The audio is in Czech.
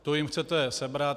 To jim chcete sebrat?